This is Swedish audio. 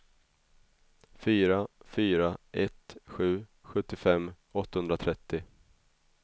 fyra fyra ett sju sjuttiofem åttahundratrettio